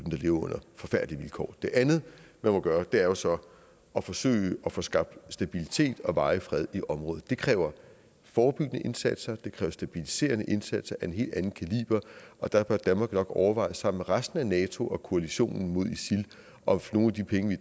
lever under forfærdelige vilkår det andet man må gøre er jo så at forsøge at få skabt stabilitet og varig fred i området det kræver forebyggende indsatser det kræver stabiliserende indsatser af en helt anden kaliber og der bør danmark nok overveje sammen med resten af nato og koalitionen mod isil om nogle af de penge vi